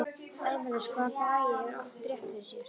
Dæmalaust hvað hann Bragi hefur oft rétt fyrir sér.